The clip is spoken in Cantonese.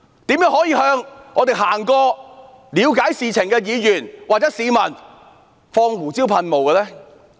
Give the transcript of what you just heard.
怎麼可以向我們路過了解事情的議員或市民施放胡椒噴霧？